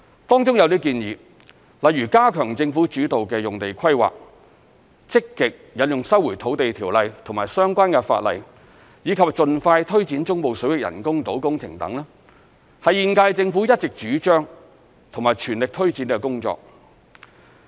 當中有些建議，例如加強政府主導的用地規劃、積極引用《收回土地條例》及相關法例，以及盡快推展中部水域人工島工程等，是現屆政府一直主張及全力推展的工作。